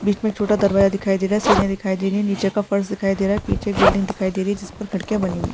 बीच में छोटा दरवाजा दिखाई दे रहा है सीढ़ियाँ दिखाई दे रही है नीचे का फर्स दिखाई दे रहा है पीछे एक बिल्डिंग दिखाई दे रही है जिसपर खिड़कियां बनी हुई हैं।